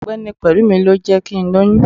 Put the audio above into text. ọgbẹni pelúmí, lọ jé kí n loyún